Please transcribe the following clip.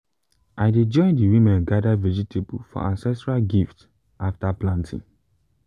i dey join the women gather vegetable for ancestral gift after planting.